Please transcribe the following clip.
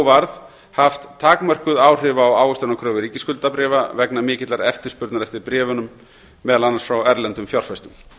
varð haft takmörkuð áhrif á ávöxtunarkröfu ríkisskuldabréfa vegna mikillar eftirspurnar eftir bréfunum meðal annars frá erlendum fjárfestum